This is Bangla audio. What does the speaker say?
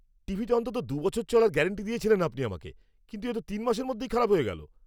টিভিটা অন্তত দু বছর চলার গ্যারাণ্টি দিয়েছিলেন আপনি আমাকে, কিন্তু এ তো তিন মাসের মধ্যেই খারাপ হয়ে গেল!